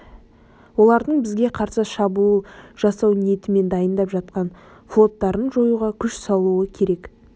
олардың бізге қарсы шабуыл жасау ниетімен дайындап жатқан флоттарын жоюға күш салуы керек